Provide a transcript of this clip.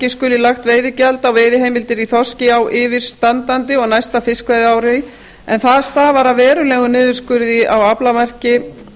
skuli lagt veiðigjald á veiðiheimildir í þorski á yfirstandandi og næsta fiskveiðiári en það stafar af verulegum niðurskurði á aflamarki